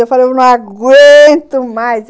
Eu falei, eu não aguento mais!